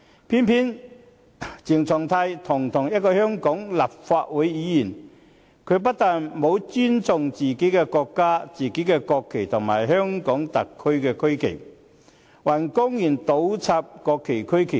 偏偏鄭松泰堂堂一位香港立法會議員，他不但沒有尊重自己國家的國旗和香港特區的區旗，還公然倒插國旗和區旗。